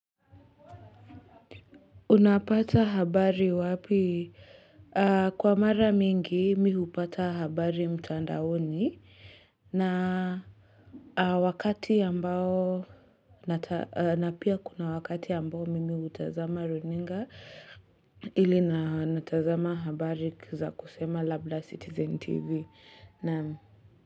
Unapata habari wapi? Kwa mara mingi mimi hupata habari mtandaoni na Wakati ambao na pia kuna wakati ambao mimi hutazama runinga ili na natazama habari za kusema labla Citizen TV naam.